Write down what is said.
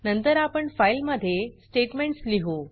नंतर आपण फाइल मध्ये स्टेट्मेंट्स लिहु